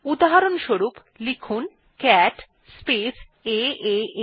উদাহরস্বরূপ লিখুন cat space এএ